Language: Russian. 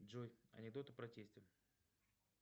джой анекдоты про тестя